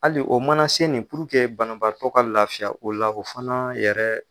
Hali o mana se nin banabaatɔ ka lafiya o la, o fana yɛrɛ